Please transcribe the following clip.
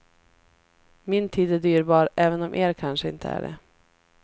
Min tid är dyrbar, även om er kanske inte är det.